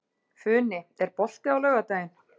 Funi, er bolti á laugardaginn?